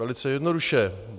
Velice jednoduše.